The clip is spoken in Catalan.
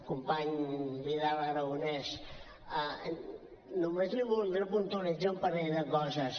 company vidal aragonés només li voldré puntualitzar un parell de coses